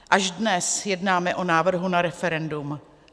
Až dnes jednáme o návrhu na referendum.